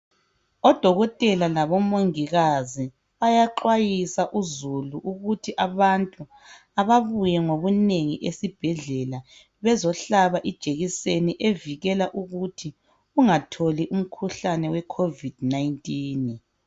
Odokotela labo mongikazi bayaxwayisa uzulu ukuthi abantu ababuye ngobunengi esibhedlela bezohlaba ijekiseni evikela ukuthi ungatholi umkhuhlane we Covid 19.